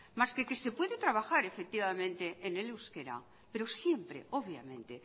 más que se puede trabajar efectivamente en el euskera pero siempre obviamente